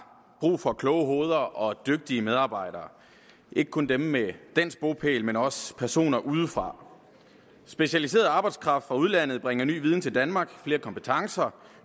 brug for kloge hoveder og dygtige medarbejdere ikke kun dem med dansk bopæl men også personer udefra specialiseret arbejdskraft fra udlandet bringer ny viden til danmark flere kompetencer